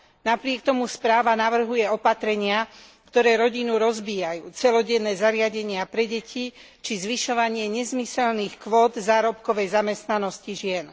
Napriek tomu správa navrhuje opatrenia, ktoré rodinu rozbíjajú celodenné zariadenia pre deti či zvyšovanie nezmyselných kvót zárobkovej zamestnanosti žien.